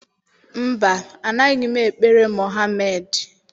Mba, anaghị m ekpere Mohamedị.